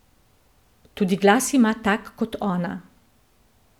Tudi glas ima tak kot ona.